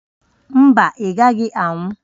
Mba, ị gaghị anwụ